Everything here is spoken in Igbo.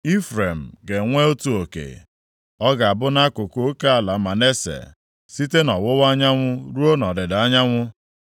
Ifrem ga-enwe otu oke. Ọ ga-abụ nʼakụkụ oke ala Manase, site nʼọwụwa anyanwụ ruo nʼọdịda anyanwụ.